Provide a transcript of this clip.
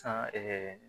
San ɛɛ